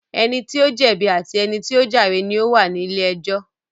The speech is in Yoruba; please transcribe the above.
Ẹni tí ó jẹ̀bi àti ẹni tí ó jàre ni ó wà ní ilé ẹjọ́